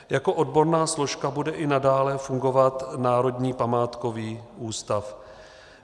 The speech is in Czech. Jako odborná složka bude i nadále fungovat Národní památkový ústav.